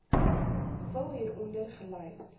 vul hieronder gelys